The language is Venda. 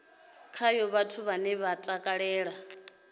khayo vhathu vhane vha takalela